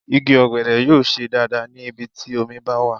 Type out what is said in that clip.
Igi ọ̀gẹ̀dẹ̀ yóò ṣe dáadáa ní ibi tí omi bá wà.